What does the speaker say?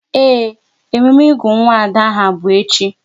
Ee, emume ịgụ nwa Ada aha bụ echi